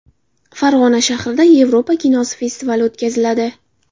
Farg‘ona shahrida Yevropa kinosi festivali o‘tkaziladi .